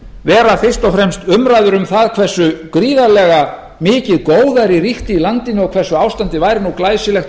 vera fyrst og fremst umræður um það hversu gríðarlega mikið góðæri ríkti í landinu og hversu ástandið væri nú glæsilegt og